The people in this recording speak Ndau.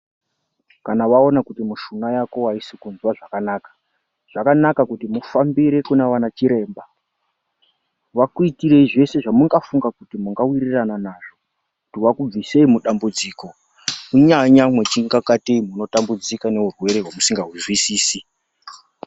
Kana waona kuti mushuna yako aisi kuzwa zvakanaka, zvakanaka kuti mufambire kuna anachiremba. Vakuitirei zveshe zvamungafunga kuti mungawirirana nazvo. Vakubvisei mudambudziko kunyanya muchiita kungatei muchitambudzika neurwere hwamusingazwisisi.